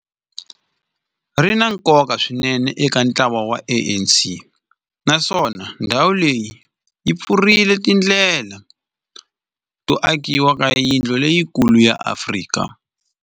Ri na nkoka swinene eka ntlawa wa ANC, naswona ndhawu leyi yi pfulerile tindlela to akiwa ka yindlu leyikulu ya Afrika.